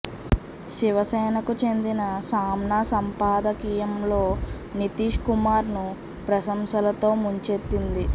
శివసేనకు చెందిన సామ్నా సంపాదకీయంలో నితీశ్ కుమార్ ను ప్రశంసలతో ముంచెత్తింది